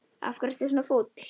Af hverju ertu svona fúll?